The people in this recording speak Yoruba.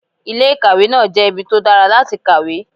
Ilé ìkàwé náà jẹ́ ibi tó dára láti kàwé.